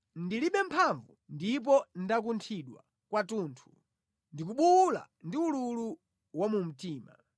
Ndilibe mphamvu ndipo ndakunthidwa kwathunthu; ndikubuwula ndi ululu wa mumtima.